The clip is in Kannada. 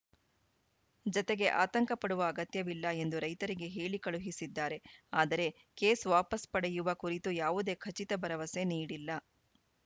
ಜತೆಗೆ ಆತಂಕ ಪಡುವ ಅಗತ್ಯವಿಲ್ಲ ಎಂದು ರೈತರಿಗೆ ಹೇಳಿ ಕಳುಹಿಸಿದ್ದಾರೆ ಆದರೆ ಕೇಸ್‌ ವಾಪಸ್‌ ಪಡೆಯುವ ಕುರಿತು ಯಾವುದೇ ಖಚಿತ ಭರವಸೆ ನೀಡಿಲ್ಲ